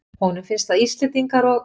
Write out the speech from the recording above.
Honum finnst að Íslendingar og